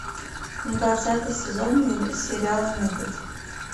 двадцатый сезон сериала метод